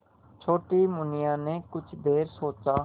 छोटी मुनिया ने कुछ देर सोचा